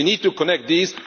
We need to connect these.